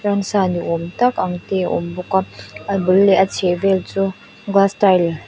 ramsa ni âwm tak ang te a awm bawk a a bul leh a chhehvel chu glass tile --